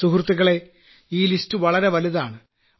സുഹൃത്തുക്കളേ ഈ പട്ടിക വളരെ വലുതാണ്